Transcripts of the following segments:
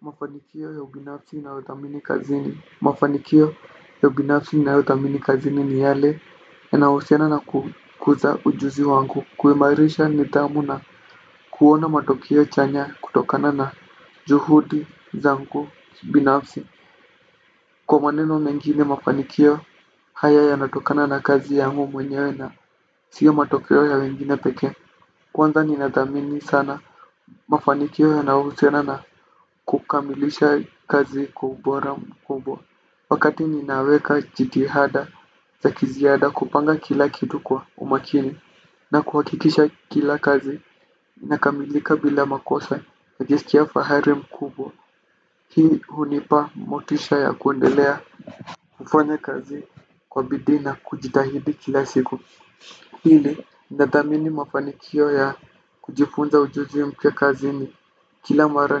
Mafanikio ya ubinafsi unayothamini kazini mafanikio ya ubinafsi ninayothamini kazini ni yale yanahusiana na kukuza ujuzi wangu kuimairisha nidhamu na kuona matokeo chanya kutokana na juhudi zangu binafsi kwa maneno mengine mafanikio haya yanatokana na kazi yangu mwenyewe na siyo matokeo ya wengine pekee kwanza ninathamini sana mafanikio yanayohusiana na kukamilisha kazi kwa ubora mkubwa wakati ninaweka jitihada za kiziada kupanga kila kitu kwa umakini na kuhakikisha kila kazi inakamilika bila makosa hujisikia fahari mkubwa hii hunipa motisha ya kuendelea kufanya kazi kwa bidii na kujitahidi kila siku pili nathamini mafanikio ya kujifunza ujuzi mpya kazini. Kila mara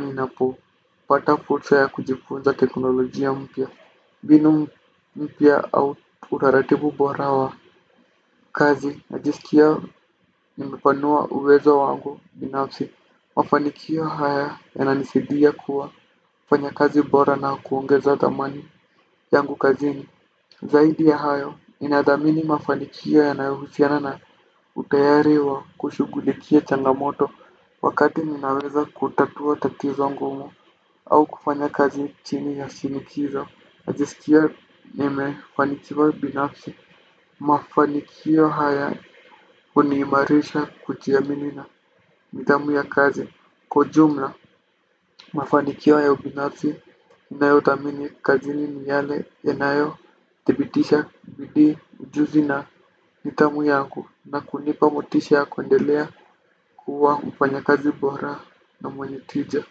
ninapopata fursa ya kujifunza teknolojia mpya mbinu mpya au utaratibu bora wa kazi najisikia nimepanua uwezo wangu binafsi mafanikio haya yananisidia kuwa mfanyakazi bora na kuongeza thamani yangu kazini. Zaidi ya hayo ninathamini mafanikio yanayohusiana na utayari wa kushughulikia changamoto. Wakati ninaweza kutatua tatizo ngumu au kufanya kazi chini ya shinikizo najisikia nimefanikiwa binafsi mafanikio haya huniimarisha kujiamini na nidhamu ya kazi kwa ujumla mafanikio ya ubinafsi ninayothamini kazini ni yale yanayothibitisha bidii ujuzi na nidhamu yangu na kunipa motisha ya kuendelea kuwa mfanyakazi bora na mwenye tija.